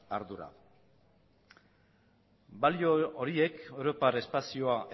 ardura balio horiek europar espazioa